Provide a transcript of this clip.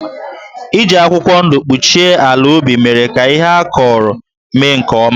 Iji akwụkwọ ndụ kpuchie ala ubi mere ka ihe a kụrụ mee nke ọma.